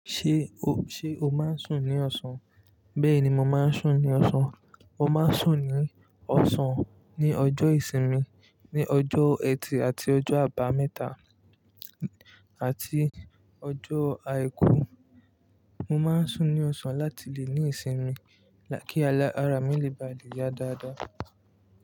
Ṣé o, ṣe o máa ń sùn ní ọ̀sán? Bẹ́ẹ̀ ni mo máa ń sùn ní ọ̀sán. Mo máa ń sùn ní ọ̀sán ní ọjọ́ ìsinmi, ní ọjọ́ ẹtì àti ọjọ́ àbámẹ́ta àti ọjọ́ àìkú. Mo máa ń sùn ní ọ̀sán láti lè ní ìsinmi kí ara mi lè ba le ya dáadáa.